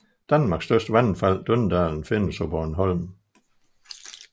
Danmarks største vandfald Døndalen findes på Bornholm